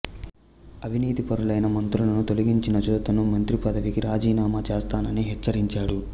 అవినీతి పరులైన మంత్రులను తొలిగించనిచో తాను మంత్రిపదవికి రాజీనామా చేస్తానని హెచ్చరించాడు